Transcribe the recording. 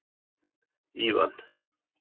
Ívan